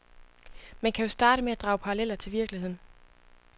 Man kan jo starte med at drage paralleller til virkeligheden.